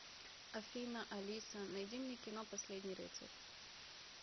афина алиса найди мне кино последний рыцарь